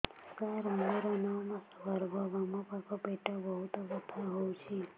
ସାର ମୋର ନଅ ମାସ ଗର୍ଭ ବାମପାଖ ପେଟ ବହୁତ ବଥା ହଉଚି